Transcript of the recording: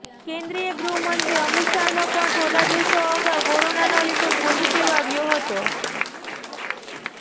કેન્દ્રીય ગૃહ મંત્રી અમિત શાહનો પણ થોડા દિવસો અગાઉ કોરોનાનો રિપોર્ટ પોઝિટિવ આવ્યો હતો